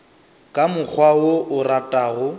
ka mokgwa wo o ratago